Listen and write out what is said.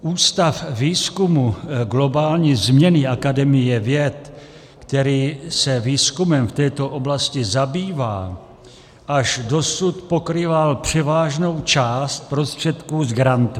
Ústav výzkumu globální změny Akademie věd, který se výzkumem v této oblasti zabývá, až dosud pokrýval převážnou část prostředků z grantů.